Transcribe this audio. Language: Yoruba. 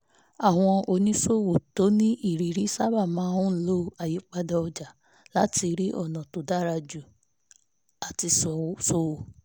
àwọn oníṣòwò tó nírìírí sábà máa ń lo àyípadà ọjà láti rí ọ̀nà tó dára jù láti ṣòwò